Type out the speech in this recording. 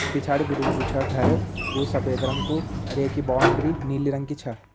पिछाड़ी बिटिन जु छा घर वो सफ़ेद रंग कु अर ये कि बाउंड्री नीली रंग की छा।